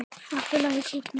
Allt í lagi, krúttið mitt!